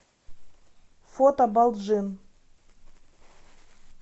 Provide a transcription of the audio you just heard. фото балджын